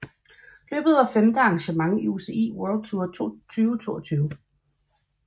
Løbet var femte arrangement på UCI World Tour 2022